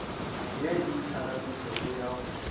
ye e itlhaganetšeng ya go